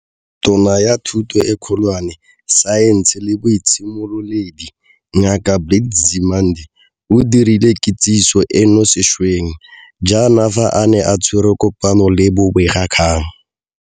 Tona ya Thuto e Kgolwane, Saense le Boitshimololedi, Ngaka Blade Nzimande, o dirile kitsiso eno sešweng jaana fa a ne a tshwere kopano le bobegakgang.